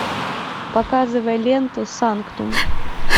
показывай ленту санктум